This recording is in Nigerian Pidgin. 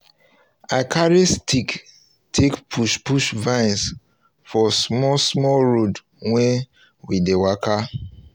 i carry stick take push push vines for small small road wey we dey waka